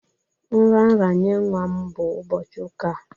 Nraranye nwa m bụ ụbọchị ụka a.